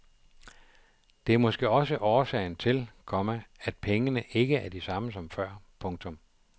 Det er måske også årsagen til, komma at pengene ikke er de samme som før. punktum